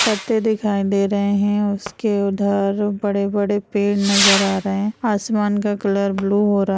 पत्ते दिखाई दे रहे हैं और उसके उधर बड़े-बड़े पेड़ नज़र आ रहे हैं। आसमान का कलर ब्लू हो रहा --